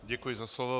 Děkuji za slovo.